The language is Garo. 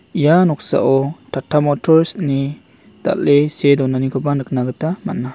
ia noksao tata motors ine dal·e see donanikoba nikna gita man·a.